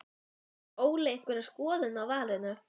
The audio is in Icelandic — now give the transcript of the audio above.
Hefur Óli einhverja skoðun á valinu?